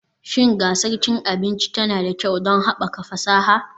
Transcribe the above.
Shin gasar cin abinci yara tana da kyau don haɓaka fasaha